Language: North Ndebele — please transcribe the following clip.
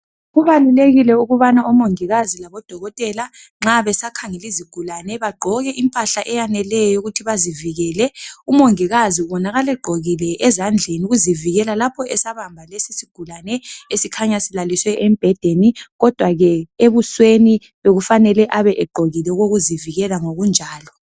Kubalulekile ukubana omongikazi labodokotela nxa besakhangela izigulane, bagqoke impahla eyaneleyo ukuthi bazivikele. Umongikazi ubonakala egqokile ezandleni ukuzivikela, lapho esabamba lesisigulane, esikhanya silaliswe embhedeni, kodwa ke ebusweni, bekufanele, abe egqokile, okokuzivikela ngokunjalo.